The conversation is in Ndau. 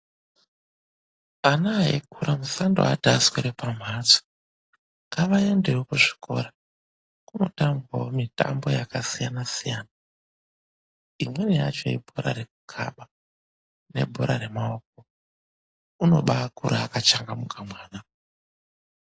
Ana eikura musandoati aswere pamhatso, ngavaendewo kuzvikora, kunotambwawo mitambo yakasiyana siyana. Imweni yacho ibhora rekukhaba nebhora remaoko, unobakura akachangamuka mwana.